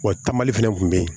Wa taamali fɛnɛ kun be yen